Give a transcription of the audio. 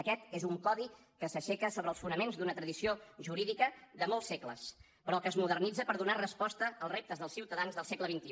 aquest és un codi que s’aixeca sobre els fonaments d’una tradició jurídica de molts segles però que es modernitza per donar resposta als reptes dels ciutadans del segle xxi